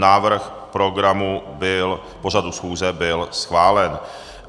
Návrh programu pořadu schůze byl schválen.